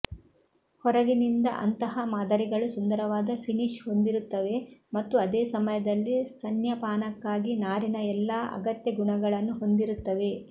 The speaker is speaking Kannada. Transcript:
ಹೊರಗಿನಿಂದ ಅಂತಹ ಮಾದರಿಗಳು ಸುಂದರವಾದ ಫಿನಿಶ್ ಹೊಂದಿರುತ್ತವೆ ಮತ್ತು ಅದೇ ಸಮಯದಲ್ಲಿ ಸ್ತನ್ಯಪಾನಕ್ಕಾಗಿ ನಾರಿನ ಎಲ್ಲಾ ಅಗತ್ಯ ಗುಣಗಳನ್ನು ಹೊಂದಿರುತ್ತವೆ